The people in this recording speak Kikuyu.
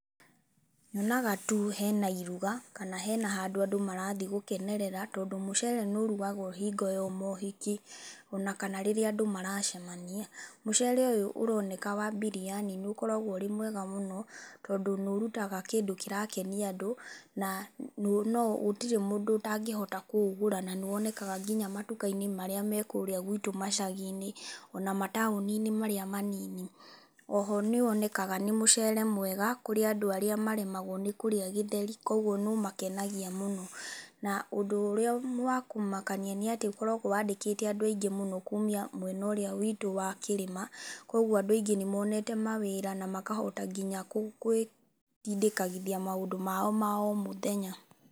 Nyonaga tu hena iruga, kana hena handũ andũ marathi gũkenerera, tondũ mũcere nĩ ũrugagwo hingo ya mohiki, ona kana rĩrĩa andũ maracemania. Mũcere ũyũ ũroneka wa Biriyani nĩ ũkoragwo ũrĩ mwega mũno, tondũ nĩ ũrutaga kĩndũ kĩrakenia andũ, na no gũtirĩ mũndũ ũtangĩhota kũũgũra na nĩ wonekaga nginya matuka-inĩ marĩa me kũũrĩa guitũ macagi-inĩ. Ona mataũni-inĩ marĩa manini. Oho nĩ wonekaga nĩ mũcere mwega, kũrĩa andũ arĩa maremagwo nĩ kũrĩa gĩtheri. Koguo nĩ ũmakenagia mũno. Na ũndũ ũrĩa wa kũmakania nĩ atĩ ũkoragwo wandĩkĩte andũ aingĩ mũno kuumia mwena ũrĩa witũ wa kĩrĩma, kũguo andũ aingĩ nĩ monete mawĩra na makahota nginya kwĩtindĩkithagia maũndũ mao ma o mũthenya.